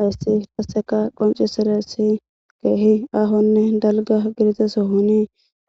Hayssi qasseka qoncisirays keehi ahonne dalga gidiza sohoni